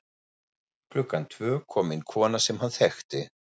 Klukkan tvö kom inn kona sem hann þekkti.